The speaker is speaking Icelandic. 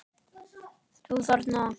Þú þarna.